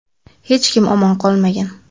Hech kim omon qolmagan.